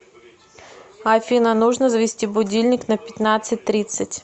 афина нужно завести будильник на пятнадцать тридцать